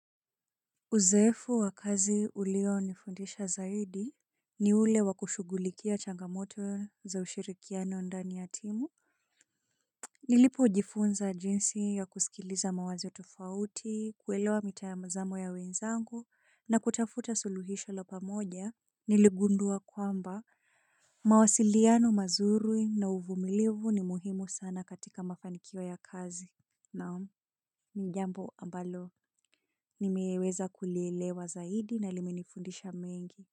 Uzoefu wa kazi ulio nifundisha zaidi ni ule wakushughulikia changamoto za ushirikiano ndani ya timu. Nilipo jifunza jinsi ya kusikiliza mawazo tofauti, kuelewa mitamazamo ya wenzangu na kutafuta suluhisho la pamoja, niligundua kwamba mawasiliano mazuri na uvumilivu ni muhimu sana katika mafanikio ya kazi. Naam, nijambo ambalo, nimeweza kulielewa zaidi na limenifundisha mengi.